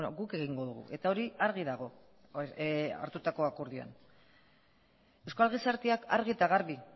guk egingo dugu eta hori argi dago hartutako akordioan euskal gizarteak argi eta garbi